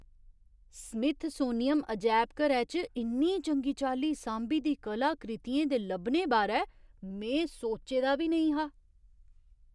Smithsonian अजैबघरै च इन्नी चंगी चाल्ली सांभी दी कलाकृतियें दे लब्भने बारै में सोच्चे दा बी नेईं हा।